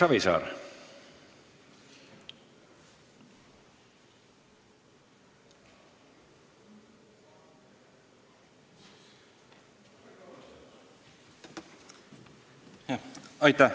Erki Savisaar.